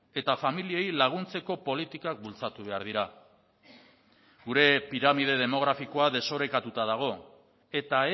eta familiei laguntzeko politikak bultzatu behar dira gure piramide demografikoa desorekatuta dago eta